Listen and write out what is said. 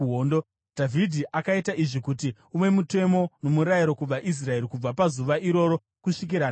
Dhavhidhi akaita izvi kuti uve mutemo nomurayiro kuvaIsraeri kubva pazuva iroro kusvikira nhasi.